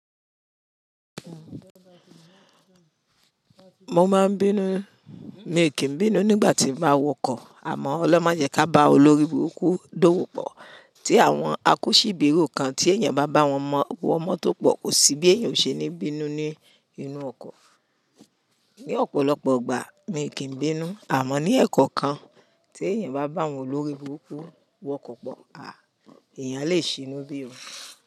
Mo máa ń bínú, mi kìi n bínú nígbà tí n ba wọkọ̀ àmọ́ ọlọrun ma jẹ kí á bá olóríburúkú dówó pọ̀ tí àwọn akọ́ṣíbèro kan tí èèyàn bá bá wọn wọ mọtó pọ̀ kò sí bí èèyàn o ṣe ní bínú ní inú ọkọ̀. Ni ọ̀pọ̀lọpọ̀ igbà mi kìí bínú àmọ́ ní ẹ̀kankan tí èèyàn bá bá àwọn olórí burúkú wọkọ̀ pọ̀, èèyàn lè ṣinú bí.